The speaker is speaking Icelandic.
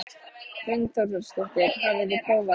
Hrund Þórsdóttir: Hafið þið prófað þetta?